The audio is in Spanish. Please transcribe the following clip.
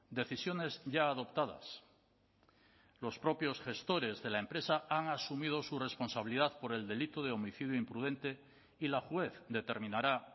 decisiones ya adoptadas los propios gestores de la empresa han asumido su responsabilidad por el delito de homicidio imprudente y la juez determinará